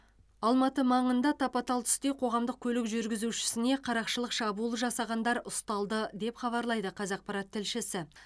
алматы маңында тапа тал түсте қоғамдық көлік жүргізушісіне қарақшылық шабуыл жасағандар ұсталды деп хабарлайды қазақпарат тілшісі